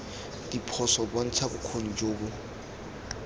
diphoso bontsha bokgoni jo bo